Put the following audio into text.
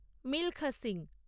Milkha Singh